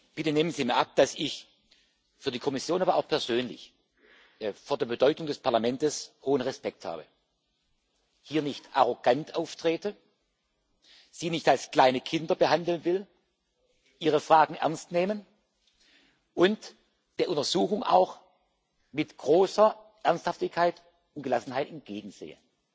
Bitte nehmen Sie mir ab, dass ich für die Kommission, aber auch persönlich vor der Bedeutung des Parlaments hohen Respekt habe, hier nicht arrogant auftrete, Sie nicht als kleine Kinder behandeln will, Ihre Fragen ernst nehme und der Untersuchung auch mit großer Ernsthaftigkeit und Gelassenheit entgegensehe.